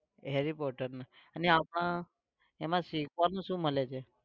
harry potter નું અને આમા એમાં શીખવાનું શું મળે છે?